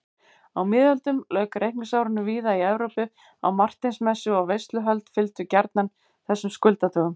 Á miðöldum lauk reikningsárinu víða í Evrópu á Marteinsmessu og veisluhöld fylgdu gjarnan þessum skuldadögum.